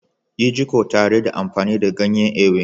Yi jiƙo tare da amfani da ganyen Ewe.